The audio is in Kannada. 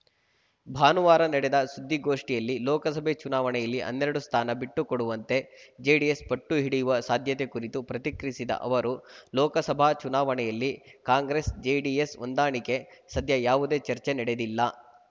ಭಾನುವಾರ ನಡೆದ ಸುದ್ದಿಗೋಷ್ಠಿಯಲ್ಲಿ ಲೋಕಸಭೆ ಚುನಾವಣೆಯಲ್ಲಿ ಹನ್ನೆರಡು ಸ್ಥಾನ ಬಿಟ್ಟುಕೊಡುವಂತೆ ಜೆಡಿಎಸ್‌ ಪಟ್ಟು ಹಿಡಿಯುವ ಸಾಧ್ಯತೆ ಕುರಿತು ಪ್ರತಿಕ್ರಿಯಿಸಿದ ಅವರು ಲೋಕಸಭಾ ಚುನಾವಣೆಯಲ್ಲಿ ಕಾಂಗ್ರೆಸ್‌ಜೆಡಿಎಸ್‌ ಹೊಂದಾಣಿಕೆ ಸದ್ಯ ಯಾವುದೇ ಚರ್ಚೆ ನಡೆದಿಲ್ಲ